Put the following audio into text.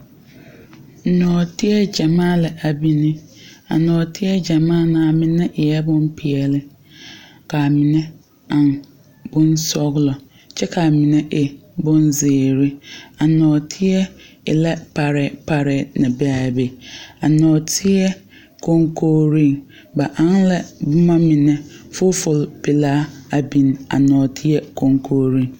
Nɔɔteɛ gyamaa la a biŋ a nɔɔteɛ gyamaa ŋa a mine e la boŋ peɛle ka a mine eŋ boŋ sɔglɔ kyɛ ka a mine e boŋ zeere a nɔɔteɛ e la parɛɛ parɛɛ naŋ be a be a nɔɔteɛ koŋkorŋ ba eŋ la boma mine fuful pelaa la a biŋ a nɔɔteɛ koŋkoriŋ.